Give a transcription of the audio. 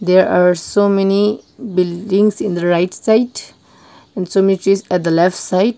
there are so many buildings in right side and so many trees at the left side.